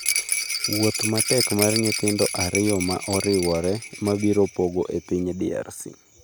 Wuoth matek mar nyithindo ariyo ma oriwre mabiro pogo e piny DRC